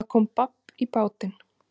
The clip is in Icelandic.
Það er komið babb í bátinn